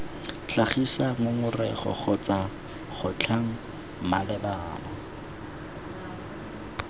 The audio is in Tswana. tlhagisa ngongorego kgotsa kgotlhang malebana